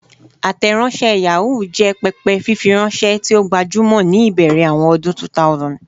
Ateronse Yahoo jẹ pẹpẹ fifiranṣẹ ti o gbajumọ ni ibẹrẹ awọn ọdun 2000.